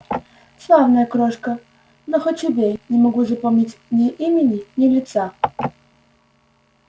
славная крошка но хоть убей не могу запомнить ни имени ни лица